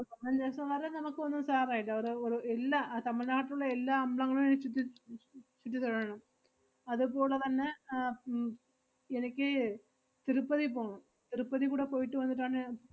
ഒര് പതിനഞ്ച് ദെവസം വരെ നമ്മക്ക് ഒന്നും സാരം ഇല്ല. ഒര്~ ഒരു ഇല്ലാ, അഹ് തമിഴ് നാട്ടിലുള്ള എല്ലാ അംബ്ലങ്ങളും അഹ് ചുറ്റി ചു~ ചുറ്റി തൊഴണം. അതുപോളെ തന്നെ ആഹ് ഉം എനിക്ക് തിരുപ്പതി പോണം. തിരുപ്പതി കൂടെ പോയിട്ട് വന്നിട്ടാണ് ഞ~